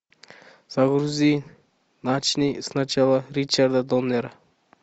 загрузи начни сначала ричарда доннера